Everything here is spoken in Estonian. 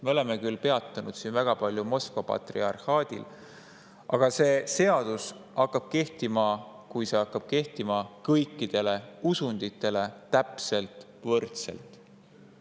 Me oleme siin küll väga palju peatunud Moskva patriarhaadil, aga kui see seadus hakkab kehtima, siis hakkab see kehtima kõikidele usunditele täpselt võrdselt.